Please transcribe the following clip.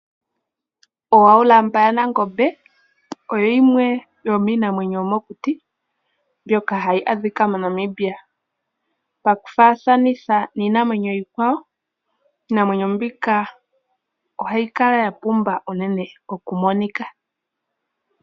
Oohaulamba yaNangombe oyo yimwe yomiinamwenyo yomokuti mbyoka hayi adhika mo Namibia. Pakufaathanitha niinamwenyo iikwawo iinamwenyo mbika ohayi kala ya pumba uunene oku monika.